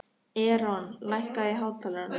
Eron, lækkaðu í hátalaranum.